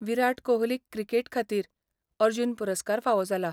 विराट कोहलीक क्रिकेट खातीर अर्जुन पुरस्कार फावो जाला.